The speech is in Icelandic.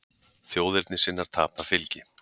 Þjóðernissinnar tapa fylgi